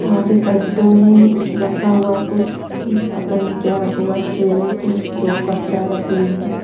यहाँ पे पैकेटों में रखा हुआ कुछ पता नहीं क्या रखा हुआ ट्रे में तो दो कप चाय रखी हुई है।